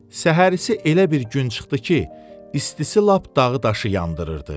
Səhər isə elə bir gün çıxdı ki, istisi lap dağı daşı yandırırdı.